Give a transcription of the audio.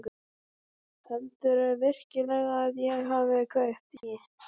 Heldurðu virkilega að ég hafi kveikt í?